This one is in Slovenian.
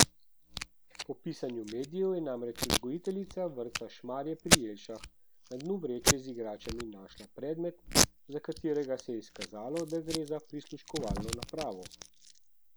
Po pisanju medijev je namreč vzgojiteljica vrtca Šmarje pri Jelšah na dnu vreče z igračami našla predmet, za katerega se je izkazalo, da gre za prisluškovalno napravo.